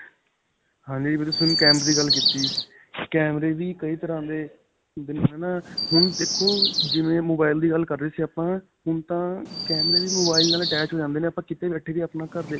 ਹਾਂਜੀ ਵੀਰੇ ਹੁਣ ਤੁਸੀਂ ਕੈਮੇਰੇ ਦੀ ਗੱਲ ਕਿੱਤੀ ਕੈਮਰੇ ਵੀ ਕਈ ਤਰਾਂ ਦੇ ਹੁੰਦੇ ਨੇ. ਹੈ ਨਾ ਹੁਣ ਦੇਖੋ ਜਿਵੇਂ mobile ਦੀ ਗੱਲ ਕਰ ਰਹੇ ਸੀ ਆਪਾਂ ਹੁਣ ਤਾਂ ਕੈਮਰੇ ਵੀ mobile ਨਾਲ attached ਹੋ ਜਾਂਦੇ ਨੇ ਆਪਾਂ ਕੀਤੇ ਬੈਠੇ ਵੀ ਆਪਣਾ ਘਰ.